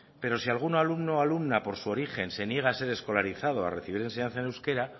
pero si algún alumno o alumna por su origen se niega a ser escolarizado a recibir enseñanza en euskera